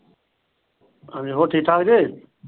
ਹਾਂਜੀ ਹੋਰ ਠੀਕ ਠਾਕ ਜੇ ।